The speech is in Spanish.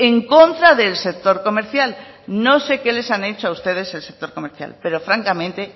en contra del sector comercial no sé qué les ha hecho a ustedes el sector comercial pero francamente